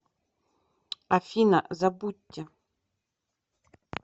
афина забудьте